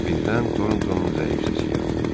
Birdən Tortonun zəif səsi gəldi.